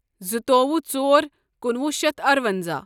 زٕتووُہ ژور کُنوُہ شیتھ ارَونٛزاہ